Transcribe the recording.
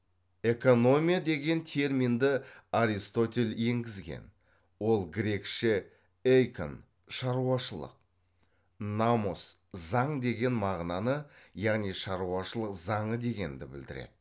экономия деген терминді аристотель енгізген ол грекше эйкон шаруашылық намос заң деген мағынаны яғни шаруашылық заңы дегенді білдіреді